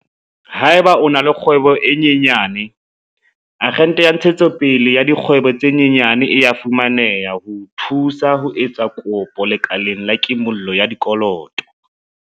Haeba o na le kgwebo e nyenyane, Akgente ya Ntshetsopele ya Dikgwebo tse Nyenyane e a fumane-ha ho o thusa ho etsa kopo lekaleng la kimollo ya dikoloto.